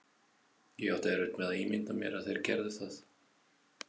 Ég átti erfitt með að ímynda mér að þeir gerðu það.